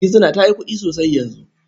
Gizina ta yi kuɗi sosai yanzu.